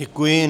Děkuji.